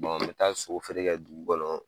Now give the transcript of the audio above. n mi taa sogo feere kɛ dugu kɔnɔ